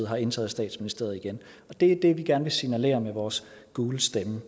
har indtaget statsministeriet igen det er det vi gerne vil signalere med vores gule stemme